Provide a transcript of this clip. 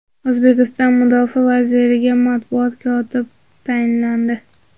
O‘zbekiston mudofaa vaziriga matbuot kotib tayinlandi.